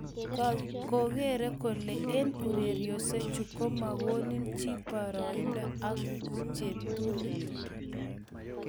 "kokeroo kele eng ureriosiechu ko magonin chii boroindo ak cheptulit "